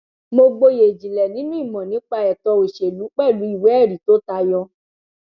mo gboyè ìjìnlẹ nínú ìmọ nípa ètò òṣèlú pẹlú ìwéẹrí tó tayọ